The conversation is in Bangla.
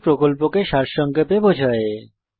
এটি প্রকল্পকে সারসংক্ষেপে বোঝায়